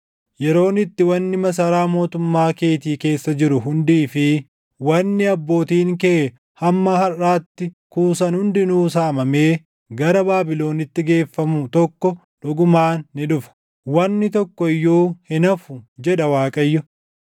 Yeroon itti wanni masaraa mootummaa keetii keessa jiru hundii fi wanni abbootiin kee hamma harʼaatti kuusan hundinuu saamamee gara Baabilonitti geeffamu tokko dhugumaan ni dhufa. Wanni tokko iyyuu hin hafu, jedha Waaqayyo.